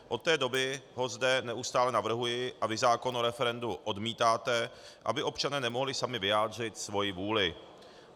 Od té doby ho zde neustále navrhuji, a vy zákon o referendu odmítáte, aby občané nemohli sami vyjádřit svoji vůli.